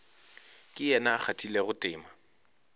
ke yena a kgathilego tema